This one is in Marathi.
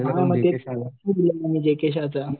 हां मग तेच